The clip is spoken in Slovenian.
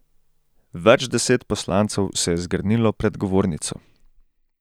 Več deset poslancev se je zgrnilo pred govornico.